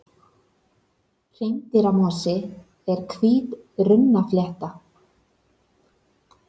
Hreindýramosi er hvít runnaflétta.